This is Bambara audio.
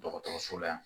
Dɔgɔtɔrɔso la yan